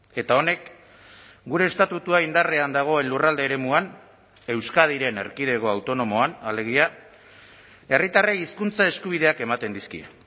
eta honek gure estatutua indarrean dagoen lurralde eremuan euskadiren erkidego autonomoan alegia herritarrei hizkuntza eskubideak ematen dizkie